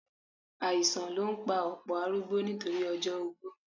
Àìsàn ló ń pa ọ̀pọ̀ arúgbó nítorí ọjọ́ ogbó